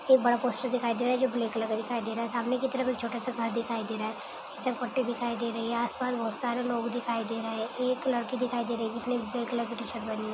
एक बड़ा पोस्टर दिखाई दे रहा है जो ब्लैक कलर का दिखाई दे रहा है सामने की तरफ एक छोटा सा घर दिखाई दे रहा है फिसल पट्टी दिखाई दे रही है आसपास बहुत सारे लोग दिखाई दे रहे हैं एक लड़की दिखाई दे रही है जिसने ब्लैक कलर की टी-शर्ट पहनी है।